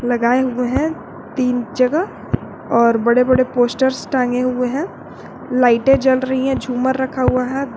लगाए हुए है तीन जगह और बड़े बड़े पोस्टर्स टांगे हुए है लाइटे जल रही है झूमर रखा हुआ है।